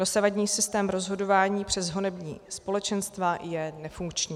Dosavadní systém rozhodování přes honební společenstva je nefunkční.